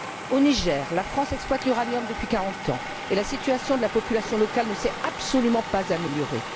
Au Niger, la France exploite l'uranium depuis quarante ans et la situation de la population locale ne s'est absolument pas améliorée.